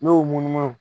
N'i y'o munumunu